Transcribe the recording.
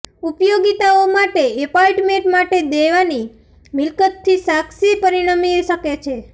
ઉપયોગિતાઓ માટે એપાર્ટમેન્ટ માટે દેવાની મિલકત થી સાક્ષી પરિણમી શકે છે